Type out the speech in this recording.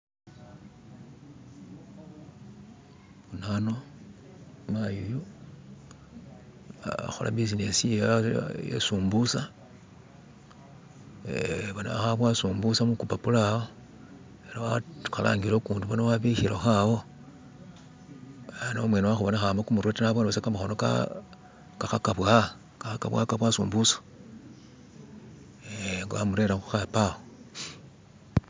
Bona ano mayi uyu akhola buzinesi yewe iye sumbusa eh boona khaboowa sumbusa mukupapula awo, ari wakhalangile ukundi boona wabikhilekho awo ano umwene wakhubonekha ma kumurwe ta naboone busa kamakhono khaka bowa sumbusa eh amurere khukhapo awo.